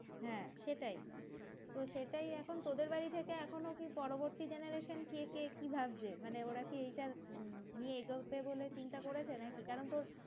হ্যাঁ সেটাই তো সেটাই এখন তোদের বাড়ি থেকে এখনও কি পরবর্তী generation কে কে কি ভাবছে মানে ওরা কি এইটা নিয়ে এগোবে বলে চিন্তা করেছে নাকি কারণ তোর